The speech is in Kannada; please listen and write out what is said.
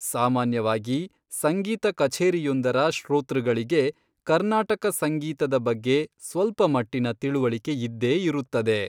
ಸಾಮಾನ್ಯವಾಗಿ ಸಂಗೀತ ಕಛೇರಿಯೊಂದರ ಶ್ರೋತೃಗಳಿಗೆ ಕರ್ನಾಟಕ ಸಂಗೀತದ ಬಗ್ಗೆ ಸ್ವಲ್ಪಮಟ್ಟಿನ ತಿಳಿವಳಿಕೆಯಿದ್ದೇ ಇರುತ್ತದೆ.